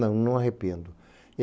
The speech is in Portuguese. Não, não arrependo.